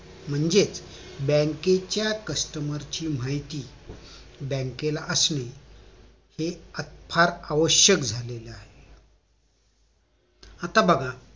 म्हणजेच बँकेच्या customer ची माहिती बँकेला असणे हे फार आवश्यक झालं आहे आता बघा